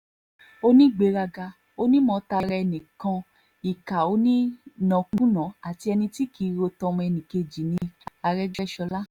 ó ní onígbéraga onímọ tara ẹni nìkan ìkà onínàkunàá àti ẹni tí kì í ro ti ọmọnìkejì ní àrègbéṣọlá